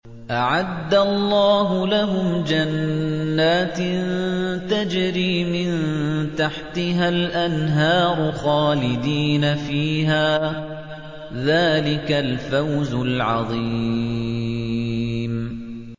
أَعَدَّ اللَّهُ لَهُمْ جَنَّاتٍ تَجْرِي مِن تَحْتِهَا الْأَنْهَارُ خَالِدِينَ فِيهَا ۚ ذَٰلِكَ الْفَوْزُ الْعَظِيمُ